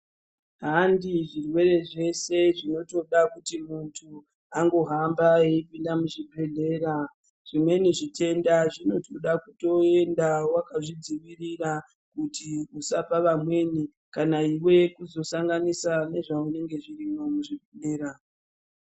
Handi zvirwere zvese zvinotoda kuti muntu angohamba eipinda muzvibhedhlera zvimweni zvitenda zvinotoda kutoenda wakazvidzivirira kuti usapa vamweni kana iwe kuzosanganisa nezvaunenge zvirimwo muzvibhedhlera.